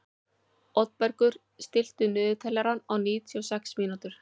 Oddbergur, stilltu niðurteljara á níutíu og sex mínútur.